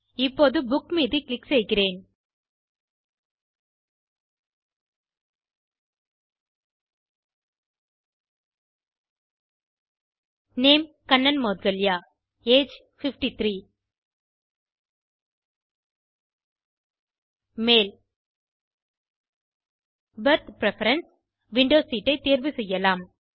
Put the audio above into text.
இப்போது புக் மீது க்ளிக் செய்கிறேன் நேம் கண்ணன் மௌட்கல்யா ஏஜ் 53 மேல் பெர்த் பிரெஃபரன்ஸ் - விண்டோ சீட் ஐ தேர்வு செய்யலாம்